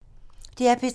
DR P3